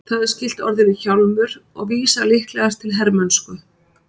Það er skylt orðinu hjálmur og vísar líklegast til hermennsku.